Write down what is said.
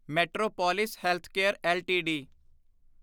metropolis Healthcare LTD